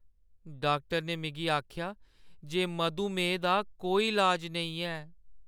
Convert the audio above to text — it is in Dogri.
डाक्टर ने मिगी आखेआ जे मधुमेह दा कोई इलाज नेईं ऐ।